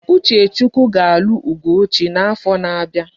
Uchechukwu ga alu ugochukwu na afo na abia